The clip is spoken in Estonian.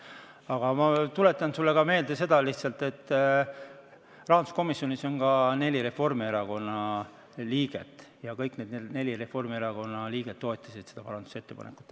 Aga ma tuletan lihtsalt sulle meelde seda, et rahanduskomisjonis on ka neli Reformierakonna liiget ja kõik need neli liiget toetasid seda parandusettepanekut.